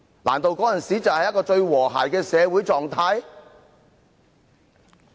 難道那時才是最和諧的社會狀態？